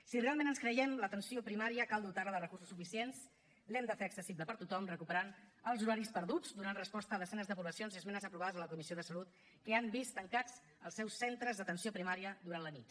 si realment ens creiem l’atenció primària cal dotar la de recursos suficients l’hem de fer accessible per a tothom recuperant els horaris perduts donant resposta a desenes de poblacions i esmenes aprovades a la comissió de salut que han vist tancats els seus centres d’atenció primària durant la nit